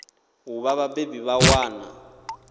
u vha vhabebi vha ṅwana